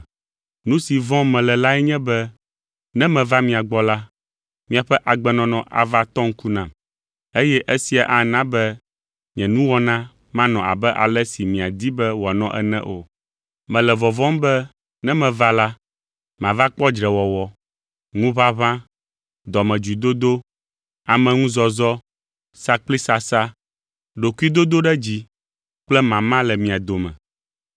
Nu si vɔ̃m mele lae nye be ne meva mia gbɔ la, miaƒe agbenɔnɔ ava tɔ ŋku nam, eye esia ana be nye nuwɔna manɔ abe ale si miadi be wòanɔ ene o. Mele vɔvɔ̃m be ne meva la, mava kpɔ dzrewɔwɔ, ŋuʋaʋã, dɔmedzoedodo, ameŋuzɔzɔ, sakplisasa, ɖokuidodoɖedzi kple mama le mia dome.